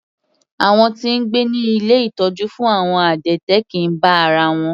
Àwọn tí ń gbé ní ilé ìtọ́jú fún àwọn adẹ́tẹ̀ kìí bá ara wọn.